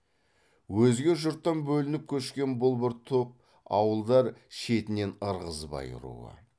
өзге жұрттан бөлініп көшкен бұл бір топ ауылдар шетінен ырғызбай руы